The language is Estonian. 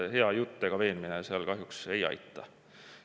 Hea jutt ega veenmine seal kahjuks ei aita.